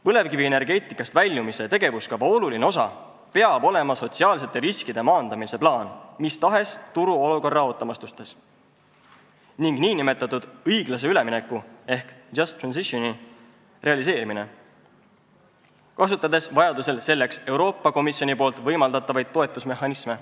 Põlevkivienergeetikast väljumise tegevuskava oluline osa peab olema sotsiaalsete riskide maandamise plaan mis tahes turuolukorra ootamatuste korral ning nn õiglase ülemineku ehk just transition'i realiseerimine, kasutades vajadusel selleks Euroopa Komisjoni võimaldatavaid toetusmehhanisme.